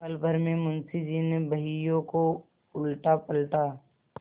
पलभर में मुंशी जी ने बहियों को उलटापलटा